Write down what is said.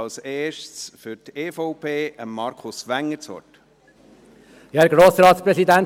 Als Erstes gebe ich Markus Wenger für die EVP das Wort.